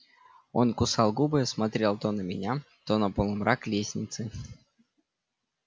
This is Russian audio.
он кусал губы смотрел то на меня то на полумрак лестницы